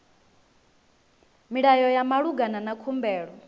milayo ya malugana na khumbelo